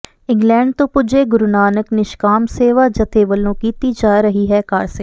England ਤੋਂ ਪੁਜੇ ਗੁਰੂ ਨਾਨਕ ਨਿਸ਼ਕਾਮ ਸੇਵਕ ਜਥੇ ਵਲੋਂ ਕੀਤੀ ਜਾ ਰਹੀ ਹੈ ਕਾਰਸੇਵਾ